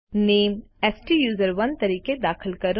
name સ્ટુસરોને તરીકે દાખલ કરો